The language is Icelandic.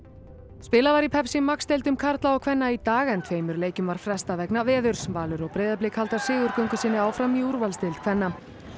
spilað var í Max deildum karla og kvenna í dag en tveimur leikjum var frestað vegna veðurs Valur og Breiðablik halda sigurgöngu sinni áfram í úrvalsdeild kvenna